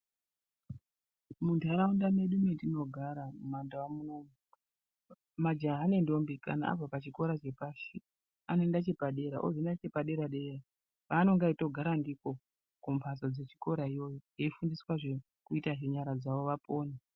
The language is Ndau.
Munharaunda medu matinogara mumandau munomu ,majaha nendombi kana abva pachikora chepashi, anoenda chepadera ozoenda chepadera-dera. Paanenge eitogara ndipo kumphatso dzechikora iyoyo eifundiswa zvekuita ngenyara dzavo vapone.